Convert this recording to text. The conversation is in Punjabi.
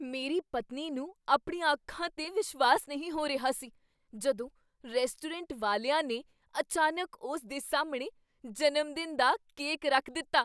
ਮੇਰੀ ਪਤਨੀ ਨੂੰ ਆਪਣੀਆਂ ਅੱਖਾਂ 'ਤੇ ਵਿਸ਼ਵਾਸ ਨਹੀਂ ਹੋ ਰਿਹਾ ਸੀ ਜਦੋਂ ਰੈਸਟੋਰੈਂਟ ਵਾਲਿਆ ਨੇ ਅਚਾਨਕ ਉਸ ਦੇ ਸਾਹਮਣੇ ਜਨਮਦਿਨ ਦਾ ਕੇਕ ਰੱਖ ਦਿੱਤਾ।